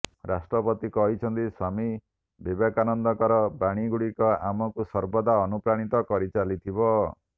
ରାଷ୍ଟ୍ରପତି କହିଛନ୍ତି ସ୍ୱାମୀ ବିବେକାନନ୍ଦଙ୍କର ବାଣୀଗୁଡ଼ିକ ଆମକୁ ସର୍ବଦା ଅନୁପ୍ରାଣିତ କରିଚାଲିଥିବ